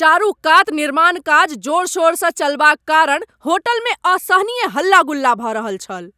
चारूकात निर्माण काज जोर शोर सँ चलबाक कारण होटलमे असहनीय हल्ला गुल्ला भऽ रहल छल।